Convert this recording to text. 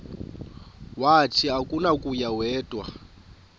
wathi akunakuya wedw